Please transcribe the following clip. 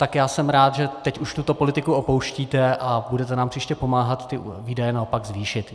Tak já jsem rád, že teď už tuto politiku opouštíte a budete nám příště pomáhat ty výdaje naopak zvýšit.